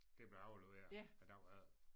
Det blev afleveret æ dag efter